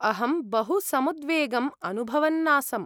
अहं बहु समुद्वेगम् अनुभवन्नासम्।